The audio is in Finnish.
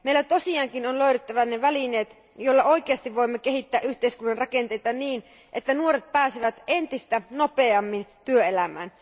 Meidän tosiaankin on löydettävä ne välineet, joilla oikeasti voimme kehittää yhteiskunnan rakenteita niin, että nuoret pääsevät entistä nopeammin työelämään.